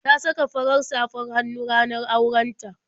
Ta saka fara safr hannu a ranar auren ta.